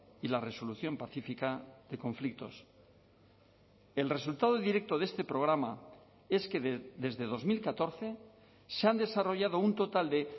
y la resolución pacífica de conflictos el resultado directo de este programa es que desde dos mil catorce se han desarrollado un total de